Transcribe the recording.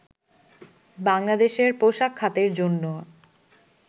বাংলাদেশের পোশাক খাতের জন্য